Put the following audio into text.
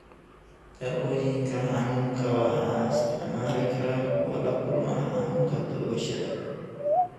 Daawooyinka xanuunka waxaa isticmaali kara kuwa la kulma xanuunka toogashada.